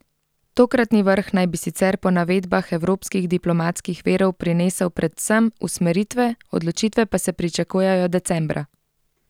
Tokratni vrh naj bi sicer po navedbah evropskih diplomatskih virov prinesel predvsem usmeritve, odločitve pa se pričakujejo decembra.